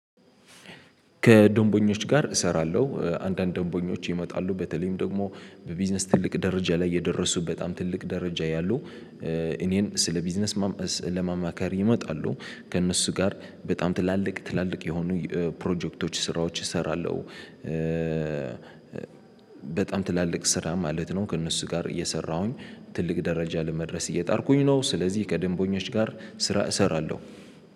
ከደንበኞች ጋር እሰራለሁ አንዳንድ ደንበኞች ይመጣሉ በተለይም ደግሞ በቢዝነስ ትልቅ ደረጃ ላይ የደረሱ በጣም ትልቅ ደረጃ ያሉ እኔን ስለ ቢዝነስ ለማማከር ይመጣሉ ከእነሱ ጋር በጣም ትላልቅ ትላልቅ የሆኑ ፕሮጀክቶች ስራዎች እሰራለሁ። በጣም ትላልቅ ስራ ማለት ነው ከእነሱ ጋር እየሰራሁኝ ትልቅ ደረጃ ለመድረስ እየጣርኩኝ ነው። ስለዚህ ከደንበኞች ጋር ስራ እሰራለሁ።